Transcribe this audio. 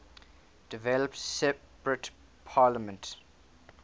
developed separate parliaments